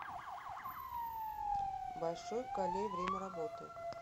большой калей время работы